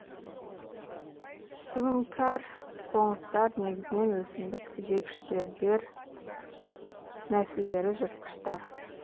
суіңкәр қоңыздар негізінен өсімдік жегіштер дернәсілдері жыртқыштар